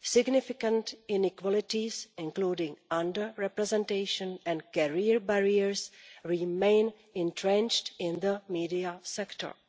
Significant inequalities, including under representation and career barriers remain entrenched in the media sector.